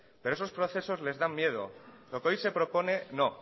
pero esos procesos les dan miedo lo que hoy se propone no